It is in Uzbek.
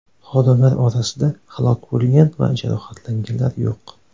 Xodimlar orasida halok bo‘lgan va jarohatlanganlar yo‘q.